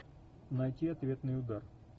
найти ответный удар